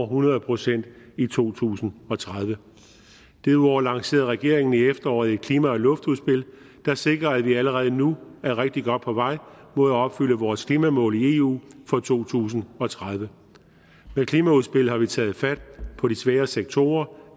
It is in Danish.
hundrede procent i to tusind og tredive derudover lancerede regeringen i efteråret et klima og luftudspil der sikrer at vi allerede nu er rigtig godt på vej mod at opfylde vores klimamål i eu for to tusind og tredive med klimaudspillet har vi taget fat på de svære sektorer